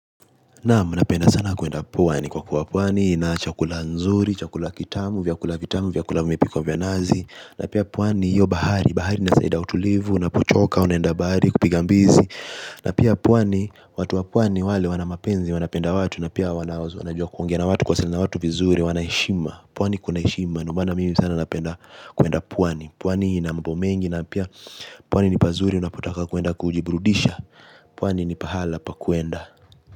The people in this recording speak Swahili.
Naamu, napenda sana kuenda pwani kwa kuwa pwani ina chakula nzuri, chakula kitamu, vya kula vitamu, vya kula mipiko vya nazi na pia pwani, hiyo bahari, bahari nasaida utulivu, napochoka, unaenda bahari, kupiga mbizi. Na pia pwani, watu wa pwani wale wanamapenzi, wanapenda watu, na pia wanajua kuongea na watu kwa siliana na watu vizuri, wana heshima. Pwani kuna heshima, ndio maana mimi sana napenda, kuenda pwani. Pwani inambo mengi, na pia pwani ni pazuri, unapotaka kuenda kujibrudisha. Pwani ni pahala pa kuenda.